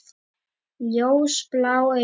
Ljósblá augu.